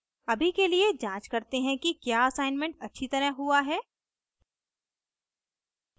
अभी के लिए जाँच करते हैं कि क्या असाइनमेंट अच्छी तरह हुआ है